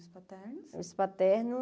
Os